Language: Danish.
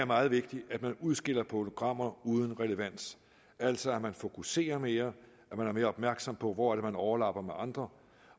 meget vigtigt at man udskiller programmer uden relevans altså at man fokuserer mere at man er mere opmærksom på hvor det er man overlapper med andre